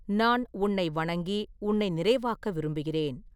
நான் உன்னை வணங்கி, உன்னை நிறைவாக்க விரும்புகிறேன்.